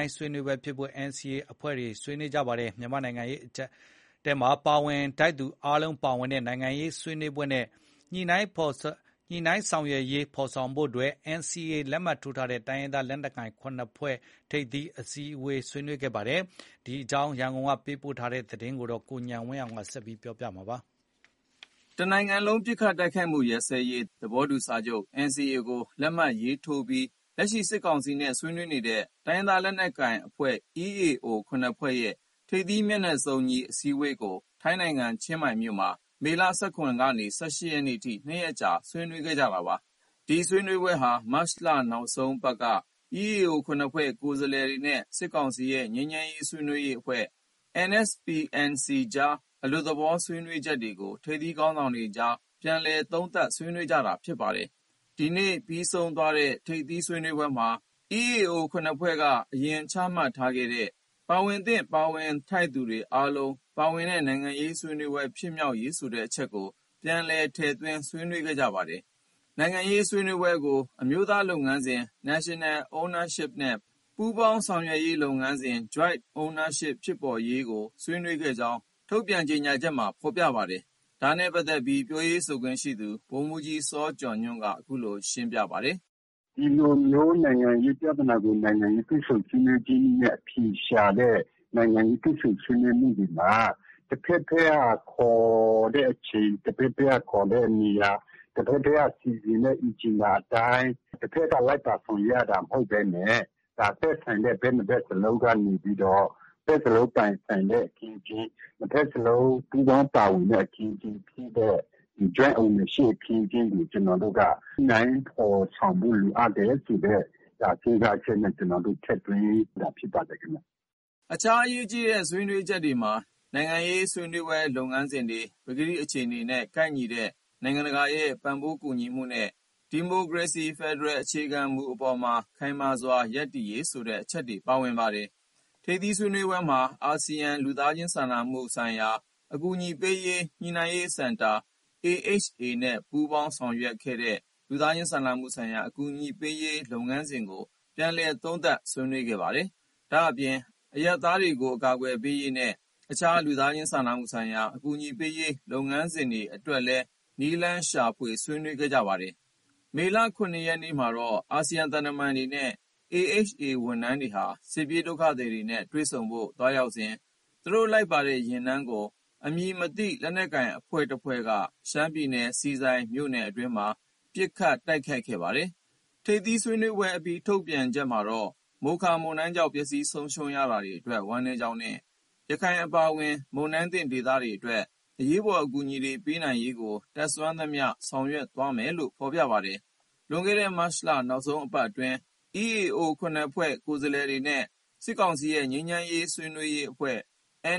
ုင်းဆွေးနွေးပွဲဖြစ်ဖို့ NCA အဖွဲ့တွေဆွေးနွေး မြန်မာ့နိုင်ငံရေး အကျပ်အတည်းဖြေရှင်းဖို့ ပါဝင်ထိုက်သူအားလုံးပါဝင်တဲ့ နိုင်ငံရေးဆွေးနွေးပွဲနဲ့ ညိနှိုင်းဆောင်ရွက်ရေး ဖော်ဆောင်ဖို့ NCA လက်မှတ်ထိုးထားတဲ့ တိုင်းရင်းသားလက်နက်ကိုင်အဖွဲ့ ၇ ဖွဲ့ထိပ်သီးအစည်းအဝေးမှာ ဆွေးနွေးခဲ့ပါတယ်။ ဒီအကြောင်း ရန်ကုန်က သတင်းပေးပို့ထားတာကို ကိုဉာဏ်ဝင်းအောင်ပြောပြမှာပါ။ တစ်နိုင်ငံလုံးပစ်ခတ်တိုက်ခိုက်မှုရပ်စဲရေး သဘောတူစာချုပ် NCA ကို လက်မှတ်ရေးထိုးထားပြီး လက်ရှိ စစ်ကောင်စီနဲ့ ဆွေးနွေးနေတဲ့ တိုင်းရင်းသားလက်နက်ကိုင်အဖွဲ့ EAO ၇ဖွဲ့ရဲ့ ထိပ်သီးမျက်နှာစုံညီ အစည်းအဝေးကို ထိုင်းနိုင်ငံ ချင်းမိုင်မြို့မှာ မေလ ၁၇ ရက်ကနေ ၁၈ ရက်နေ့အထိ ၂ရက်ကြာ ဆွေးနွေးခဲ့တာပါ။ ဒီဆွေးနွေးပွဲဟာ မတ်လ နောက်ဆုံးပတ်က EAO ၇ဖွဲ့ကိုယ်စားလှယ်တွေနဲ့ စစ်ကောင်စီရဲ့ ငြိမ်းချမ်းရေးဆွေးနွေးရေးအဖွဲ့ NSPNC အကြား အလွတ်သဘော ဆွေးနွေးတဲ့အချက်တွေကို ထိပ်သီးခေါင်းဆောင်တွေအကြား ပြန်လည်သုံးသပ် ဆွေးနွေးကြတာလည်း ဖြစ်ပါတယ်။ ဒီနေ့ပြီးဆုံးသွားတဲ့ ထိပ်သီးဆွေးနွေးပွဲမှာ EAO ၇ဖွဲ့က အရင်ချမှတ်ထားခဲ့တဲ့ ပါဝင်သင့် ပါဝင်ထိုက်သူတွေ အားလုံးပါဝင်တဲ့ နိုင်ငံရေး ဆွေးနွေးပွဲဖြစ်မြောက်ရေး ဆိုတဲ့အချက်ကို ပြန်လည် ထည့်သွင်း ဆွေးနွေး ခဲ့ကြပါတယ်။ နိုင်ငံရေးဆွေးနွေးပွဲကို အမျိုးသားလုပ်ငန်းစဉ် National Ownership နဲ့ ပူးပေါင်းဆောင်ရွက်ရေးလုပ်ငန်းစဉ် Joint Ownership ဖြစ်ပေါ်ရေးကို ဆွေးနွေးခဲ့ကြောင်းလည်း ဒီနေ့ ထုတ်ပြန်တဲ့ ကြေညာချက်မှာ ဖော်ပြပါတယ်။ ဒါနဲ့ပတ်သက်ပြီး ပြောရေးဆိုခွင့်ရှိသူ ဗိုလ်မှုးကြီးစောကျော်ညွှန့်က အခုလို ရှင်းလင်းပြောဆိုပါတယ်။ နိုင်ငံရေးတွေ့ဆုံဆွေးနွေးရေးနည်းနဲ့ အဖြေရှာတဲ့ နိုင်ငံရေးတွေ့ဆုံဆွေးနွေးမှုတွေမှာ တစ်ဘက်တည်းက ခေါ်တဲ့အချိန်၊ တစ်ဘက်တည်းက ခေါ်တဲ့နေရာ၊ တစ်ဘက်တည်းက စီစဉ်တဲ့ Agenda အတိုင်း တစ်ဘက်က လိုက်ပါ ဆောင်ရွက်ရတာ မဟုတ်ဘဲနဲ့၊ ဒါ သက်ဆိုင်တဲ့ ဘက်နှစ်ဘက်စလုံးကနေပြီးတော့ နှစ်ဘက်စလုံးပိုင်ဆိုင်တဲ့ အခင်းအကျင်း၊ နှစ်ဘက်စလုံး ပူးပေါင်းပါဝင်တဲ့ အခင်းအကျင်းဖြစ်တဲ့ Joint Ownership အခင်းအကျင်းကို ကျနော်တို့က ညှိနှိုင်းဖော်ဆောင်ဖို့ လိုအပ်တယ်ဆိုတဲ့ စဉ်းစားချက်နဲ့ ကျနော်တို့ ထည့်သွင်းတာ အခြားအရေးကြီးတဲ့ဆွေးနွေးချက်တွေမှာ နိုင်ငံရေးဆွေးနွေးပွဲလုပ်ငန်းစဉ်တွေမှာ ပကတိအခြေအနေနဲ့ ကိုက်ညီတဲ့ နိုင်ငံတကာရဲ့ ပံ့ပိုးကူညီမှုနဲ့ ဒီမိုကရေစီ ဖက်ဒရယ်အခြေခံမူအပေါ်မှာ ခိုင်မာစွာ ရပ်တည်ရေး ဆိုတဲ့အချက်တွေ ပါဝင်ပါတယ်။ ထိပ်သီးဆွေးနွေးပွဲမှာ အာဆီယံ လူသားချင်း စာနာမှုဆိုင်ရာ အကူအညီပေးရေး ညှိနှိုင်းရေးစင်တာ AHA နဲ့ ပူးပေါင်းဆောင်ရွက်ခဲ့တဲ့ လူသားချင်းစာနာမှုဆိုင်ရာ အကူအညီပေးရေးလုပ်ငန်းစဉ်ကို ပြန်လည်သုံးသပ် ဆွေးနွေးခဲ့ပါတယ်။ ဒါအပြင် အရပ်သားတွေ အကာအကွယ်ပေးရေးနဲ့ အခြား လူသားချင်းစာနာမှုဆိုင်ရာ အကူအညီပေးရေး လုပ်ငန်းစဉ်တွေအတွက်လည်း နည်းလမ်းရှာ ဆွေးနွေးခဲ့ပါတယ်။ မေလ ၇ရက်နေ့မှာတော့ အာဆီယံသံတမန်တွေနဲ့ AHA ဝန်ထမ်းတွေဟာ စစ်ပြေးဒုက္ခသည်တွေနဲ့ တွေ့ဆုံဖို့ သွားရောက်စဉ် သူတို့လိုက်ပါတဲ့ ယာဉ်တန်းကို အမည်မသိ လက်နက်ကိုင်အဖွဲ့တစ်ဖွဲ့က ရှမ်းပြည်နယ်၊ ဆီဆိုင်မြို့နယ်အတွင်းမှာ ပစ်ခတ် တိုက်ခိုက်ခဲ့ပါတယ်။ ထိပ်သီးဆွေးနွေးပွဲအပြီး ထုတ်ပြန်ချက်မှာတော့ မိုခါ မုန်တိုင်းကြောင့် ပျက်ဆီးဆုံးရှုံးရတာတွေအတွက် ဝမ်းနည်းကြောင်းနဲ့ ရခိုင်အပါအဝင် မုန်တိုင်းသင့်ဒေသတွေအတွက် အရေးပေါ် အကူအညီတွေ ပေးနိုင်ရေးကို တတ်စွမ်းသမျှ ဆောင်ရွက်သွားမယ်လို့ ဖော်ပြပါတယ်။ လွန်ခဲ့တဲ့မတ်လ နောက်ဆုံးပတ်အတွင်းမှာ EAO ၇ဖွဲ့ကိုယ်စားလှယ်တွေနဲ့ စစ်ကောင်စီရဲ့ ငြိမ်းချမ်းရေးဆွေးနွေးရေးအဖွဲ့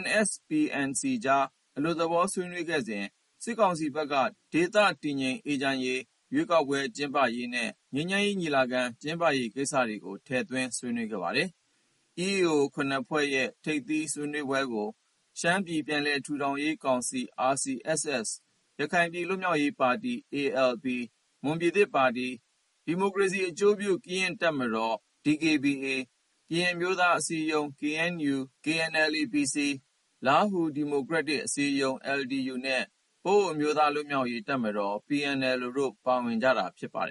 NSPNC အကြား အလွတ်သဘော ဆွေးနွေးခဲ့စဉ်က စစ်ကောင်စီဘက်က ဒေသတည်ငြိမ်အေးချမ်းရေး၊ ရွေးကောက်ပွဲ ကျင်းပရေးနဲ့ ငြိမ်းချမ်းရေးညီလာခံ ကျင်းပရေး ကိစ္စရပ်တွေကို ထည့်သွင်း ဆွေးနွေးခဲ့ပါတယ်။ EAO ၇ဖွဲ့ရဲ့ ထိပ်သီးဆွေးနွေးပွဲကို ရှမ်းပြည် ပြန်လည်ထူထောင်ရေးကောင်စီ (RCSS)၊ ရခိုင်ပြည် လွတ်မြောက်ရေးပါတီ (ALP)၊ မွန်ပြည်သစ်ပါတီ (NMSP)၊ ဒီမိုကရေစီအကျိုးပြု ကရင့်တပ်မတော် (DKBA)၊ ကရင်အမျိုးသားအစည်းအရုံး (KNU/KNLA-PC)၊ လားဟူးဒီမိုကရက်တစ် အစည်းအရုံး (LDU)နဲ့ ပအိုဝ်းအမျိုးသားလွှတ်မြောက်ရေးတပ်မတော် (PNLO) တို့ ပါဝင်ကြတာ ဖြစ်ပါတယ်